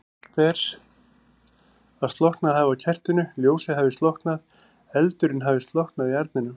Sagt er að slokknað hafi á kertinu, ljósið hafi slokknað, eldurinn hafi slokknað í arninum.